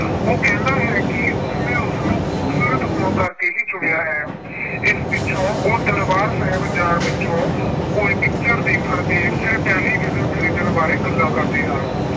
ਉਹ ਕਹਿੰਦਾ ਹੈ ਕਿ ਉਸਨੇ ਉਸਨੂੰ ਖੂਬਸੂਰਤ ਹੋਣ ਕਰਕੇ ਹੀ ਚੁਣਿਆ ਹੈ। ਇਸ ਪਿੱਛੋਂ ਉਹ ਦਰਬਾਰ ਸਾਹਿਬ ਜਾਣ ਪਿੱਛੋਂ ਕੋਈ picture ਦੇਖਣ ਤੇ ਫਿਰ television ਖਰੀਦਣ ਬਾਰੇ ਗੱਲਾਂ ਕਰਦੇ ਹਨ।